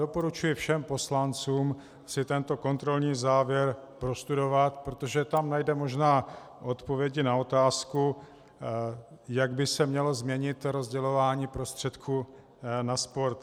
Doporučuji všem poslancům si tento kontrolní závěr prostudovat, protože tam najdeme možná odpovědi na otázku, jak by se mělo změnit rozdělování prostředků na sport.